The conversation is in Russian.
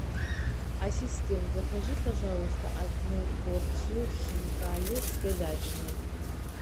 ассистент закажи пожалуйста одну порцию хинкали с говядиной